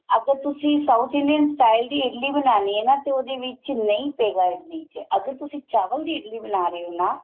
ਅਗਰ ਤੁਸੀਂ south Indian style ਦੀ ਇਡਲੀ ਬਣਾਨੀ ਏ ਨਾ ਤੇ ਉਹਦੇ ਵਿੱਚ ਨਹੀਂ ਪਏਗਾ ਇਡਲੀ ਚ ਅਗਰ ਤੁਸੀਂ ਚਾਵਲ ਦੀ ਇਡਲੀ ਬਣਾ ਰਹੇ ਓ ਨਾ